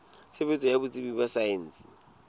tshebetso ya botsebi ba saense